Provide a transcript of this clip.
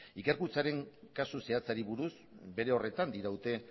ikerkuntzaren kasu zehatzari buruz bere horretan diraute